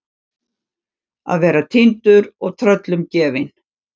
Að vera týndur og tröllum gefin